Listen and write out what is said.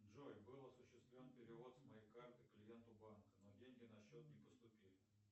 джой был осуществлен перевод с моей карты клиенту банка но деньги на счет не поступили